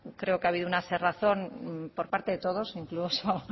creo que ha habido un cerrazón por parte de todos incluso